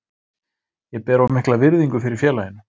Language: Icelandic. Ég ber of mikla virðingu fyrir félaginu.